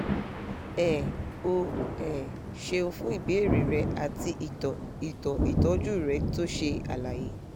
um o um ṣeun fún ìbéèrè rẹ àti ìtàn ìtàn ìtọ́jú rẹ tó ṣe àlàyé